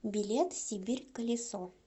билет сибирь колесо